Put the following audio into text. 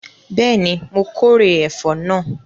Bẹ́ẹ̀ni, my kórè ẹ̀fọ́ náà